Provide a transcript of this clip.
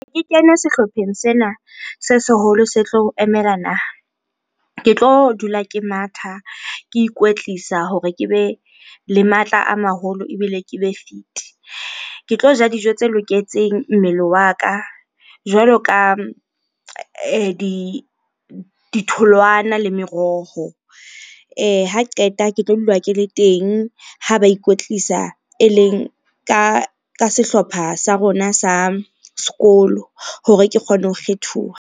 Ke kene sehlopheng sena se seholo se tlo emela naha. Ke tlo dula ke matha, ke ikwetlisa hore ke be le matla a maholo ebile ke be fit-e. Ke tlo ja dijo tse loketseng mmele wa ka jwalo ka ditholwana le meroho. Ha qeta ke tlo dula ke le teng ha ba ikwetlisa, eleng ka sehlopha sa rona sa sekolo hore ke kgone ho kgethuwa.